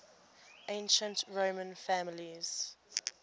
ancient roman families